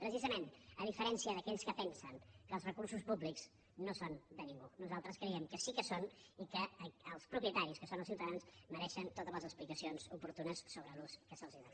precisament a diferència d’aquells que pensen que els recursos públics no són de ningú nosaltres creiem que sí que ho són i que els propietaris que són els ciutadans mereixen totes les explicacions oportunes sobre l’ús que se’ls dóna